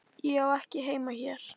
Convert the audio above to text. Ég á ekki heima hér.